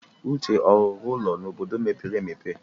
Uche ọ rụrụ ụlọ n'obodo mepere emepe?